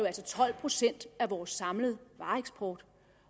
altså tolv procent af vores samlede vareeksport